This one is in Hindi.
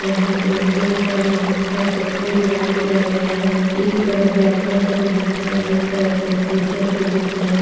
यहाँ पर ढेर सारे बुक का सेक्सन डिवाइड किया गया है एक तरफ व्याकरण की बुक है एक तरफ लिटरेचर की बुक है।